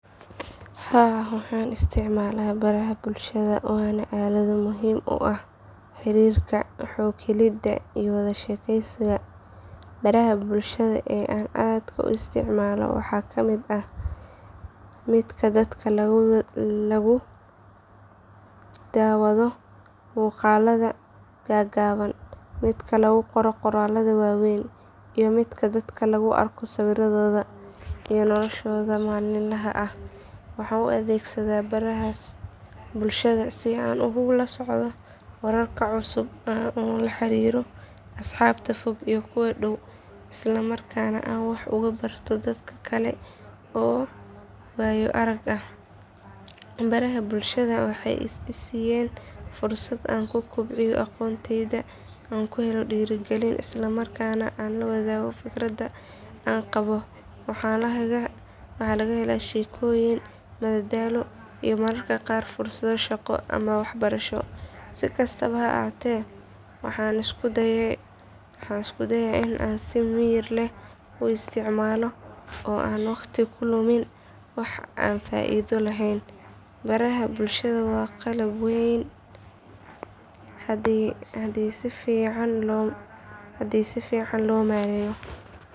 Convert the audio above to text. Haa waxaan isticmaalaa baraha bulshada waana aalado muhiim u ah xiriirka, xog helidda iyo wada sheekaysiga. Baraha bulshada ee aan aadka u isticmaalo waxaa ka mid ah midka dadka lagu daawado muuqaallada gaagaaban, midka lagu qoro qoraallo waaweyn iyo midka dadka lagu arko sawirradooda iyo noloshooda maalinlaha ah. Waxaan u adeegsadaa barahaas bulshada si aan ula socdo wararka cusub, aan ula xiriiro asxaabta fog iyo kuwa dhow, isla markaana aan wax uga barto dad kale oo waayo arag ah. Baraha bulshada waxay i siiyeen fursad aan ku kobciyo aqoontayda, aan ku helo dhiirigelin, isla markaana aan la wadaago fikradaha aan qabo. Waxaa laga helaa sheekooyin, madadaalo, iyo mararka qaar fursado shaqo ama waxbarasho. Si kastaba ha ahaatee waxaan isku dayaa in aan si miyir leh u isticmaalo oo aan waqtiga ku lumin wax aan faa’iido lahayn. Baraha bulshada waa qalab weyn haddii si fiican loo maareeyo.